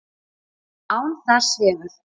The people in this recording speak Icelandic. Án þess hefur